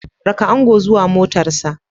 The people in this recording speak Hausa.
Raka ango zuwa motarsa